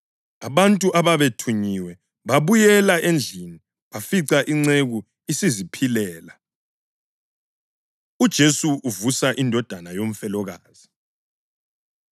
Abantu ababethunyiwe babuyela endlini bafica inceku isiziphilela. UJesu Uvusa Indodana Yomfelokazi